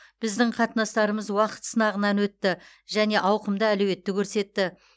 біздің қатынастарымыз уақыт сынағынын өтті және ауқымды әлеуетті көрсетті